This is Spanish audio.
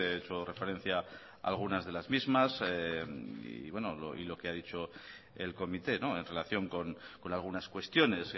he hecho referencia a algunas de las mismas y lo que ha dicho el comité en relación con algunas cuestiones